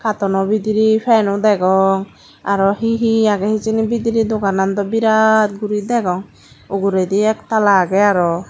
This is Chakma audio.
kattono bidiray fan o degong aro he he agey hijeni bidiray dogaanan do biraat guri degong uguredi ekataal agey aro.